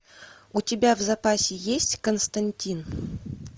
у тебя в запасе есть константин